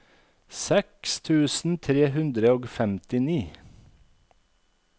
seks tusen tre hundre og femtini